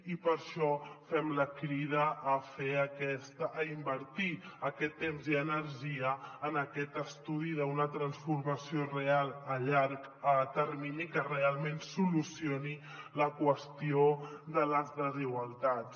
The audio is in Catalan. i per això fem la crida a invertir aquest temps i energia en aquest estudi d’una transformació real a llarg termini que realment solucioni la qüestió de les desigualtats